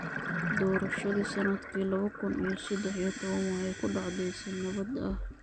Doorashadii sannadkii laba kun iyo saddex iyo toban waxay ku dhacday si nabad ah.